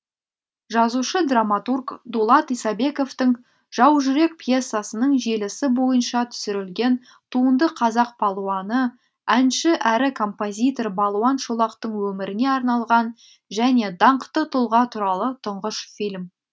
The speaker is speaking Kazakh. жазушы драматург дулат исабековтің жаужүрек пьесасының желісі бойынша түсірілген туынды қазақ палуаны әнші әрі композитор балуан шолақтың өміріне арналған және даңқты тұлға туралы тұңғыш фильм